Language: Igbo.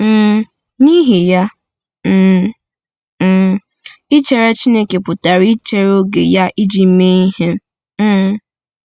um N’ihi ya, um um ichere Chineke pụtara ichere oge ya iji mee ihe. um